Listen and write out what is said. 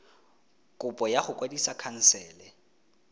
kopo ya go kwadisa khansele